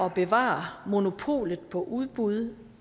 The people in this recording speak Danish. at bevare monopolet på udbud